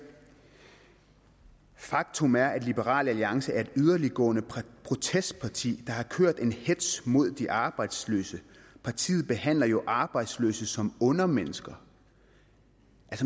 faktum er at liberal alliance er et yderligtgående protestparti der har kørt en hetz mod de arbejdsløse partiet behandler jo arbejdsløse som undermennesker